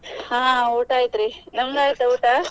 ಹಾ ಊಟ ಆಯ್ತ್ ರೀ ನಿಮ್ದ್ ಆಯ್ತಾ ಊಟ?